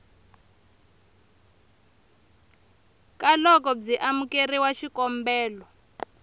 ka loko byi amukerile xikombelo